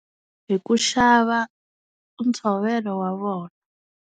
Hi ku xava ntshovelo wa vona.